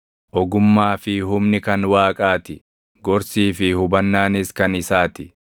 “Ogummaa fi humni kan Waaqaa ti; gorsii fi hubannaanis kan isaa ti.